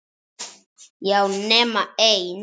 Já, nema ein.